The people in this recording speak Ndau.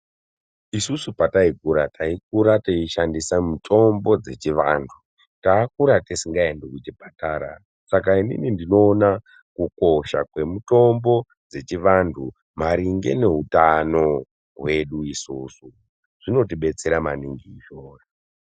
Isusu pataikura taikura teishandisa mitombo dzechiantu takakura tisingaendi kuchipatara saka inini ndinoona kukosha kwemitombo dzechivantu maringe neutano hwedu isusu zvinoti betsera maningi izvozvo.